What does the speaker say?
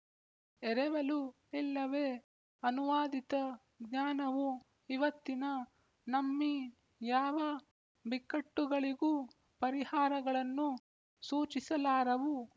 ಎರವೆಲು ಇಲ್ಲವೇ ಅನುವಾದಿತ ಜ್ಞಾನವು ಇವತ್ತಿನ ನಮ್ಮೀ ಯಾವ ಬಿಕ್ಕಟ್ಟುಗಳಿಗೂ ಪರಿಹಾರಗಳನ್ನು ಸೂಚಿಸಲಾರವು